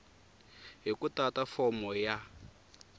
hi ku tata fomo ya